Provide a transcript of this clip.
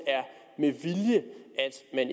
er